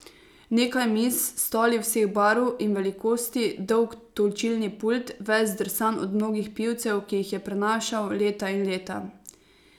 Nekaj miz, stoli vseh barv in velikosti, dolg točilni pult, ves zdrsan od mnogih pivcev, ki jih je prenašal leta in leta.